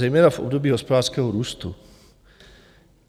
Zejména v období hospodářského růstu.